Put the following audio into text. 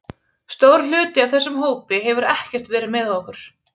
Stór hluti af þessum hópi hefur ekkert verið með okkur.